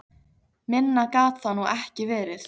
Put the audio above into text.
Minna gat það nú ekki verið.